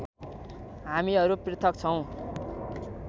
हामीहरू पृथक छौँ